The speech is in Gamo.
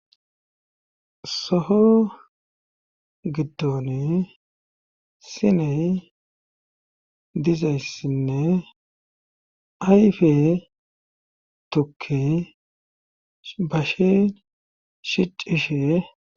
Soho giddon siney dizayssinne ayfe tukke bashe shicishe?